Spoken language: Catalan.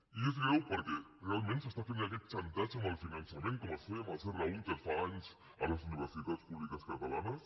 i és greu perquè realment es fa aquest xantatge amb el finançament com es feia amb el serra húnter fa anys a les universitats públiques catalanes